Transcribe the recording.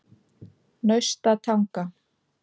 Naustatanga